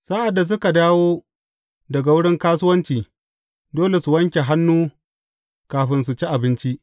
Sa’ad da suka dawo daga wurin kasuwanci, dole su wanke hannu kafin su ci abinci.